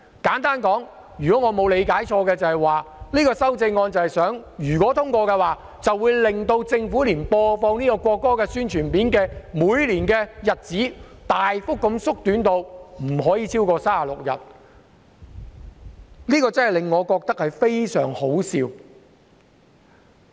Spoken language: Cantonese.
簡單來說，如果我沒有理解錯誤，該項修正案一旦獲得通過，那麼政府播放國歌宣傳片的日數便會大幅減少至每年不超過36日，我覺得真的很可笑。